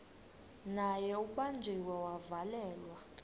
naye ubanjiwe wavalelwa